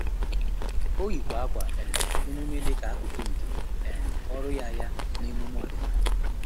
Ọ́ yìkwà ákwà um emume dịka ákụ́kụ́ nke um ọ́rụ́ ya ya na emume ọ́dị́nála.